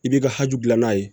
I b'i ka hakili gilan n'a ye